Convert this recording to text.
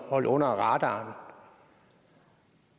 holde under radaren